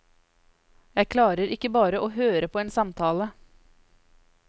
Jeg klarer ikke bare å høre på en samtale.